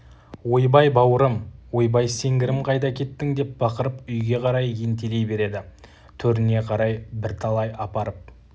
ойбай бауырым ойбай сеңгірім қайда кеттің деп бақырып үйге қарай ентелей береді төріне қарай бірталай апарып